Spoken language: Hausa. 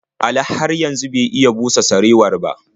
Ali har yanzu bai iya busa sarewar ba.